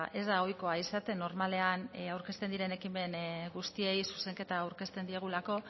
ez da ohikoa izaten normalean aurkezten diren ekimen guztiei zuzenketa aurkezten diegulako